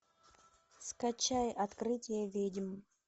скачай открытие ведьм